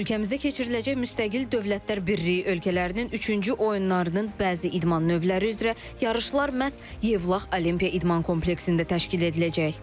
Ölkəmizdə keçiriləcək müstəqil Dövlətlər Birliyi ölkələrinin üçüncü oyunlarının bəzi idman növləri üzrə yarışlar məhz Yevlax Olimpiya İdman kompleksində təşkil ediləcək.